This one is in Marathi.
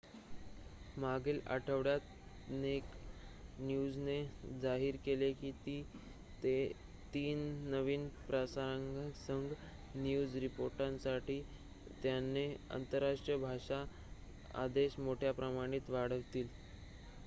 मागील आठवड्यात नेक्ड न्यूजने जाहीर केले की ते 3 नवीन प्रसारणांसह न्यूज रिपोर्टिंगसाठी त्यांचा आंतरराष्ट्रीय भाषा आदेश मोठ्या प्रमाणात वाढवतील